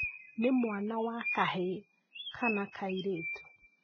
Nĩ mwana wa kahĩĩ kana kairĩtu?